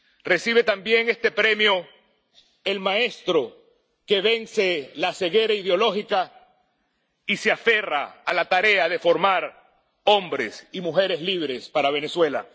Recibe también este premio el maestro que vence la ceguera ideológica y se aferra a la tarea de formar hombres y mujeres libres para Venezuela.